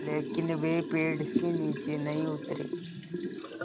लेकिन वे पेड़ से नीचे नहीं उतरे